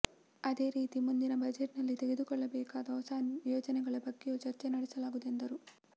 ಅದೇ ರೀತಿ ಮುಂದಿನ ಬಜೆಟ್ನಲ್ಲಿ ತೆಗೆದುಕೊಳ್ಳಬೇಕಾದ ಹೊಸ ಯೋಜನೆಗಳ ಬಗ್ಗೆಯೂ ಚರ್ಚೆ ನಡೆಸಲಾಗುವುದು ಎಂದರು